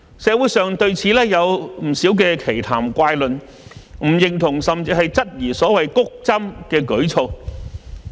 社會上對此有不少奇談怪論，不認同甚至質疑所謂"谷針"的舉措。